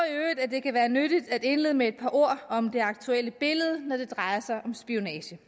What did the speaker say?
at det kan være nyttigt at indlede med et par ord om det aktuelle billede når det drejer sig om spionage